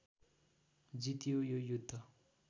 जितियो यो युद्ध